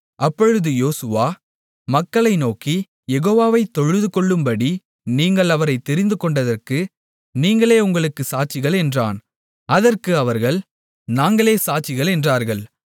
அப்பொழுது யோசுவா மக்களை நோக்கி யெகோவாவைத் தொழுதுகொள்ளும்படி நீங்கள் அவரைத் தெரிந்துகொண்டதற்கு நீங்களே உங்களுக்குச் சாட்சிகள் என்றான் அதற்கு அவர்கள் நாங்களே சாட்சிகள் என்றார்கள்